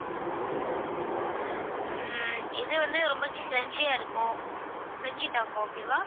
உம் இது வந்து ரொம்ப crunchy ஆ இருக்கும் crunchy taco okay வா?